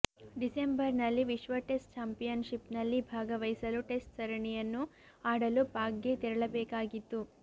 ಡಿಸೆಂಬರ್ನಲ್ಲಿ ವಿಶ್ವ ಟೆಸ್ಟ್ ಚಾಂಪಿಯನ್ಶಿಪ್ನಲ್ಲಿ ಭಾಗವಹಿಸಲು ಟೆಸ್ಟ್ ಸರಣಿಯನ್ನು ಆಡಲು ಪಾಕ್ಗೆ ತೆರಳಬೇಕಾಗಿತ್ತು